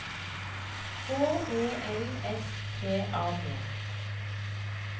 H E L S T A D